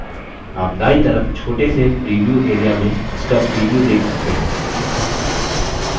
आप दायीं तरफ छोटे से प्रीव्यू area में इसका प्रीव्यू देख सकते हैं